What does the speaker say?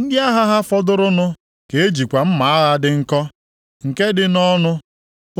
Ndị agha ha fọdụrụnụ ka e jikwa mma agha dị nkọ, nke dị nʼọnụ